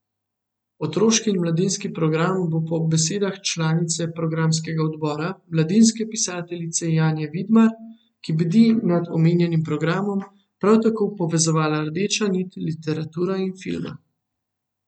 Otroški in mladinski program bo po besedah članice programskega odbora, mladinske pisateljice Janje Vidmar, ki bdi nad omenjenim programom, prav tako povezovala rdeča nit literatura in filma.